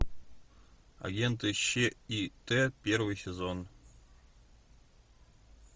агенты щ и т первый сезон